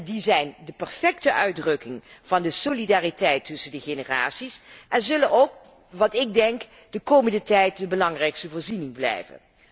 Die zijn de perfecte uitdrukking van de solidariteit tussen de generaties en zullen ook de komende tijd de belangrijkste voorziening blijven.